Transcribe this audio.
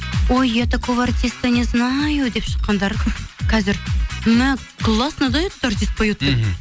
ой я такого артиста незнаю деп шыққандар қазір мә классно да этот артист поет деп мхм